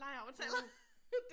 Åh